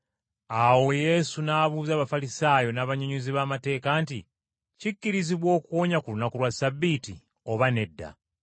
Awo Yesu n’abuuza Abafalisaayo n’abannyonnyozi b’amateeka nti, “Kikkirizibwa okuwonya ku lunaku lwa Ssabbiiti, oba nedda?”